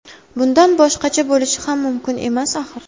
Bundan boshqacha bo‘lishi ham mumkin emas axir.